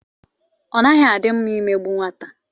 Ọ naghị a dị mma i megbu nwata.